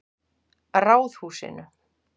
Ráðhúsinu